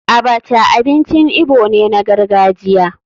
Abacha abincin igbo ne na gargajiya.